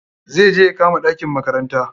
Zai je ya kama ɗakin makaranta.